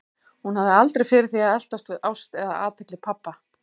Hún hafði aldrei fyrir því að eltast við ást eða athygli pabba.